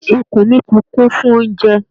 Ikùn mi tí kún fún oúnjẹ.